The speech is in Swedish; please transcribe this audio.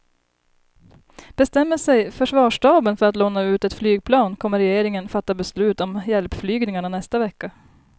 Bestämmer sig försvarsstaben för att låna ut ett flygplan kommer regeringen fatta beslut om hjälpflygningarna nästa vecka.